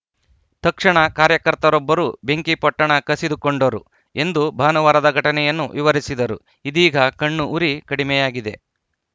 ತಕ್ಷಣ ಕಾರ್ಯಕರ್ತರೊಬ್ಬರು ಬೆಂಕಿಪೊಟ್ಟಣ ಕಸಿದುಕೊಂಡರು ಎಂದು ಭಾನುವಾರದ ಘಟನೆಯನ್ನು ವಿವರಿಸಿದರು ಇದೀಗ ಕಣ್ಣು ಉರಿ ಕಡಿಮೆಯಾಗಿದೆ